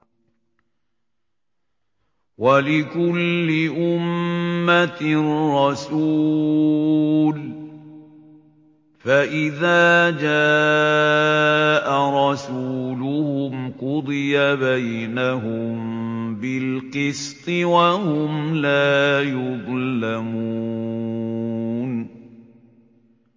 وَلِكُلِّ أُمَّةٍ رَّسُولٌ ۖ فَإِذَا جَاءَ رَسُولُهُمْ قُضِيَ بَيْنَهُم بِالْقِسْطِ وَهُمْ لَا يُظْلَمُونَ